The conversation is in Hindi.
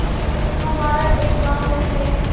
तुम हमारा एक गॉँव ले गये